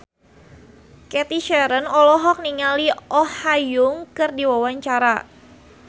Cathy Sharon olohok ningali Oh Ha Young keur diwawancara